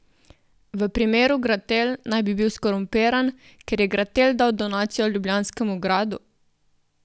V primeru Gratel naj bi bil skorumpiran, ker je Gratel dal donacijo ljubljanskemu gradu?